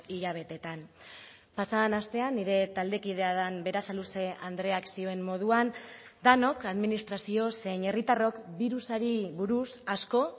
hilabeteetan pasa den astean nire taldekidea den berasaluze andreak zioen moduan denok administrazio zein herritarrok birusari buruz asko